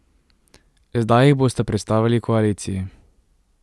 Zdaj jih bosta predstavili koaliciji.